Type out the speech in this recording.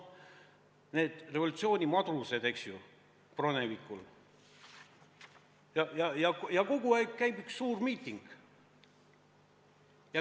Neil revolutsioonimadrustel käib kogu aeg üks suur miiting.